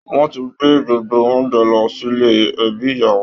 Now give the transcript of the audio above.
Wọn ti gbé gbogbo oúnjẹ lọ sílè ẹbí ìyàwó